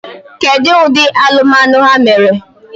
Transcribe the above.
Kedu ụdị alụmalụ ha mere?